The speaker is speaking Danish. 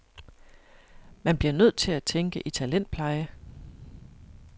Man bliver nødt til at tænke i talentpleje.